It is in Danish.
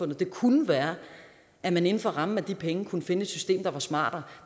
det kunne være at man inden for rammen af de penge kunne finde et system der var smartere